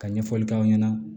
Ka ɲɛfɔli k'aw ɲɛna